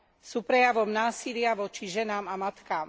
Sú prejavom násilia voči ženám a matkám.